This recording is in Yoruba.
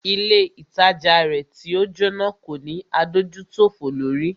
Ilé ìtajà rẹ̀ tí o Jóná kò ní adójútòfò lórí.